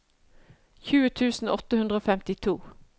tjue tusen åtte hundre og femtito